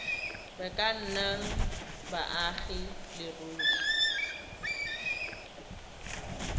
ka nnang baagi ba leruri